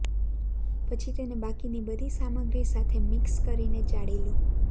પછી તેને બાકીની બધી સામગ્રી સાથે મિક્સ કરીને ચાળી લો